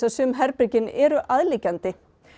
sum herbergin eru aðliggjandi